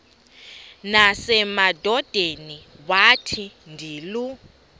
nasemadodeni wathi ndilu